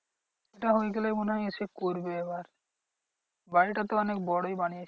ঐটা হয়ে গেলেই মনে হয় এসে করবে এবার। বাড়িটা তো অনেক বড়ই বানিয়েছে।